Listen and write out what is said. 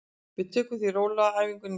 Við tökum því rólega á æfingunni í dag.